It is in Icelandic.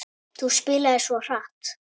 Þú spilar svo hratt.